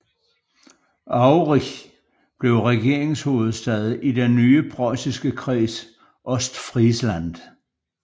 Aurich blev regeringshovedstad i den nye preussiske Kreds Ostfriesland